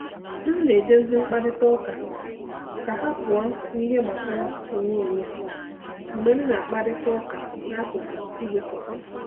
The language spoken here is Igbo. M na-eduzi mkparịta ụka ka ha pụọ n’ihe gbasara onwe onye mgbe m na-akparịta ụka n’akụkụ igwe kọfị.